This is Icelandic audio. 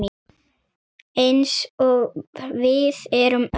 Eins og við erum öll.